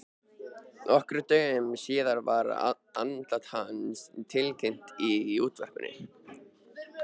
Nokkrum dögum síðar var andlát hans tilkynnt í útvarpinu.